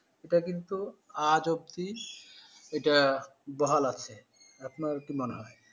এটা কিন্তু আজ অবদি এটা বহাল আছে, আপনার কি মনে হয়?